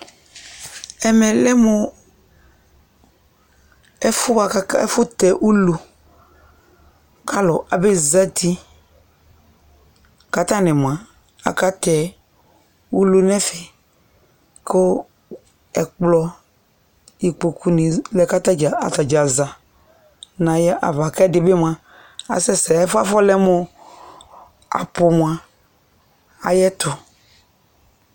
Ɛmɛ lɛ mʋ ɛfuɛ boa kʋ, ɛfʋtɛ ulu kʋ alʋ abezati kʋ atani moa akatɛ ulu nɛfɛ kʋ ɛkplɔ, ikpokʋ ni lɛ kʋ atadza za nʋ ayava kʋ ɛdi bi moa asɛsɛ, ɛfuɛ afɔlɛ mʋ ɔ abʋ moa ayɛtʋ